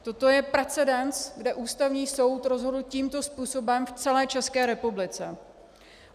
Toto je precedens, kde Ústavní soud rozhodl tímto způsobem v celé České republice.